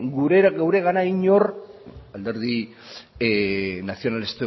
guregana inor